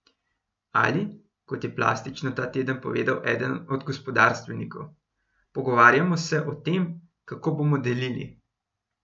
Ali, kot je plastično ta teden povedal eden od gospodarstvenikov: "Pogovarjamo se o tem, kako bomo delili.